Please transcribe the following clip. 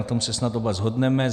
Na tom se snad oba shodneme.